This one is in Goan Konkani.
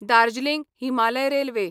दार्जलिंग हिमालय रेल्वे